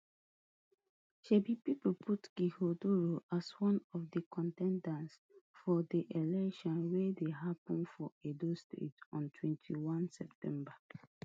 sabi pipo put ighodalo as one of di con ten ders for di election wey dey happun for edo state on twenty-one september